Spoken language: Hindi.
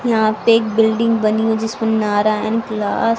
यहां पे एक बिल्डिंग बनी हो जिस पर नारायण क्लास --